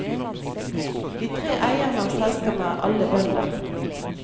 De tre eierne av selskapet er alle bønder.